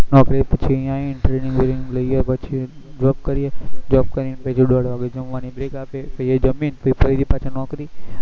નોકરી પછી અહી આવી ન training બેનીગ લઇ પછી job કરીએ job કરીન પછી દોડ વાગે જમવા નીકળી break આપે એ જમીન ફરીથી પાછા ફરી નોકરી